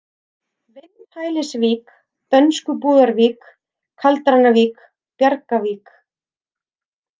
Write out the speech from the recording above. Vindhælisvík, Dönskubúðarvík, Kaldranavík, Bjargavík